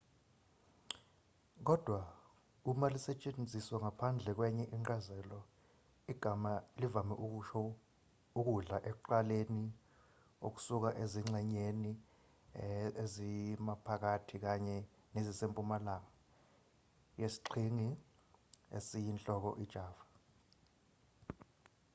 kodwa uma lisetshenziswa ngaphandle kwenye incazelo igama livame ukusho ukudla ekuqaleni okusuka ezingxenyeni ezimaphakathi kanye nezisempumalanga yesiqhingi esiyinhloko ijava